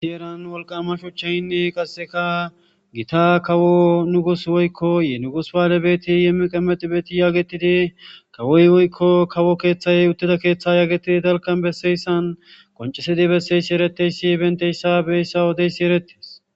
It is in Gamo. Heeran wolqama shuchchaynne qasseka gita kawo nugus woykko yenugus baale beeti yemmiqamedi beeti yaagetidi kawoy woykko kawo keeththayey uttida keeththe yaagetidi dalkan besseyssan qoncesedi besseyssi ereteyssi benteyssa beyssa wodeysi eretes